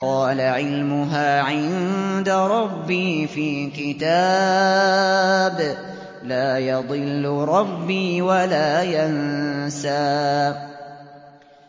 قَالَ عِلْمُهَا عِندَ رَبِّي فِي كِتَابٍ ۖ لَّا يَضِلُّ رَبِّي وَلَا يَنسَى